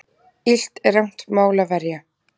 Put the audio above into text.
Illt er rangt mál að verja.